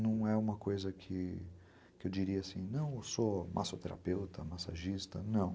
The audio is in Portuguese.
Não é uma coisa que eu diria assim, não, eu sou massoterapeuta, massagista, não.